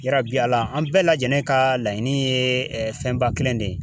Yarabi Ala an bɛɛ lajɛlen ka laɲini ye fɛnba kelen de ye